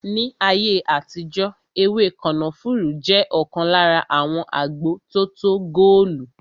Ní ayé àtijó ewé kànáfùrú jẹ ọkan lára àwọn agbo tótó góòlù